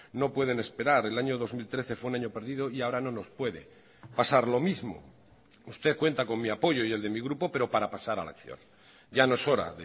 no pueden esperar el año dos mil trece fue un año perdido y ahora no nos puede pasar lo mismo usted cuenta con mi apoyo y el de mi grupo pero para pasar a la acción ya no es hora